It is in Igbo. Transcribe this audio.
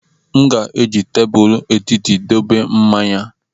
M ga-eji tebụl etiti dobe mmanya.